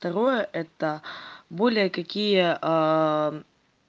второе это более какие